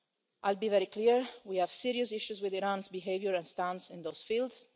I'll be very clear, we have serious issues with Iran's behaviour and stance in those fields.